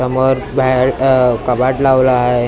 समोर बाहेर कबाड लावलं आहे .